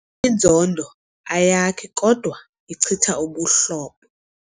Inzondo ayakhi kodwa ichitha ubuhlobo.